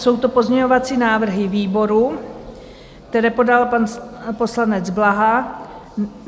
Jsou to pozměňovací návrhy výboru, které podal pan poslanec Blaha.